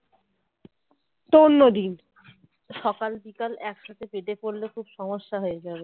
সকাল বিকল একসাথে পেতে পড়লে খুব সমস্যা হয়ে যাবে